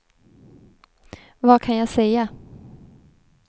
vad kan jag säga